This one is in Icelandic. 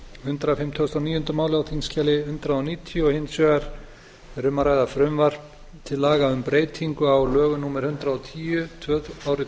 hundrað fimmtugasta og níunda mál á þingskjali hundrað níutíu og hins vegar er um að ræða frumvarp til laga um breytingu á lögum númer hundrað og tíu árið